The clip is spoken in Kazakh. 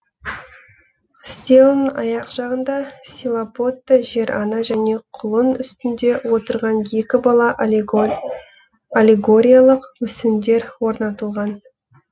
стелан аяқ жағында стилобатта жер ана және құлын үстінде отырған екі бала аллегориялық мүсіндер орнатылған